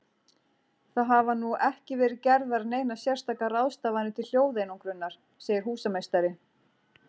Það hafa nú ekki verið gerðar neinar sérstakar ráðstafanir til hljóðeinangrunar, segir húsameistari.